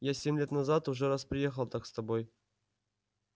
я семь лет назад уже раз приехал так с тобой